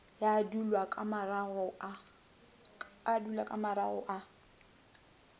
ya dulwa ka marago ka